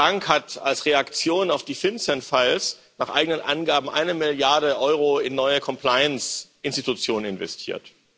Die Deutsche Bank hat als Reaktion auf die FinCEN Files nach eigenen Angaben eine Milliarde Euro in neue Compliance Institutionen investiert.